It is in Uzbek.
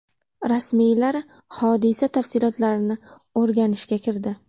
Rasmiylar hodisa tafsilotlarini o‘rganishga kirdi.